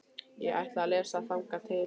Ég ætla að lesa þangað til.